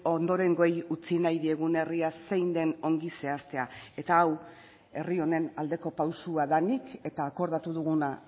ondorengoei utzi nahi diegun herria zein den ongi zehaztea eta hau herri honen aldeko pausua denik eta akordatu duguna